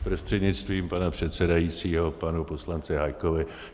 Prostřednictvím pana předsedajícího panu poslanci Hájkovi.